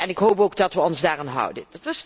Ik hoop ook dat we ons daaraan houden.